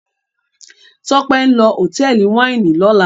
Tope nlọ Hotẹẹli Wáìnì ló là.